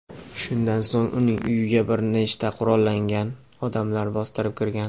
shundan so‘ng uning uyiga bir nechta qurollangan odamlar bostirib kirgan.